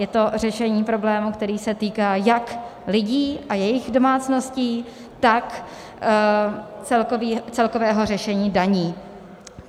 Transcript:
Je to řešení problému, který se týká jak lidí a jejich domácností, tak celkového řešení daní.